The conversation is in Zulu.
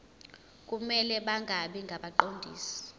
kumele bangabi ngabaqondisi